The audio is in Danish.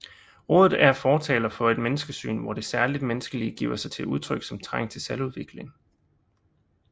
Rådet er fortaler for et menneskesyn hvor det særligt menneskelige giver sig til udtryk som trang til selvudvikling